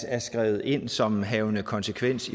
er skrevet ind som havende konsekvens